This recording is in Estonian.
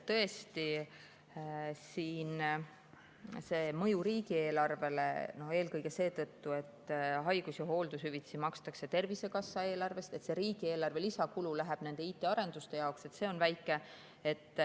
Tõesti, see mõju riigieelarvele, eelkõige seetõttu, et haigus‑ ja hooldushüvitisi makstakse Tervisekassa eelarvest ja see riigieelarve lisakulu läheb nende IT-arenduste jaoks, on väike.